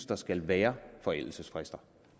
der skal være forældelsesfrister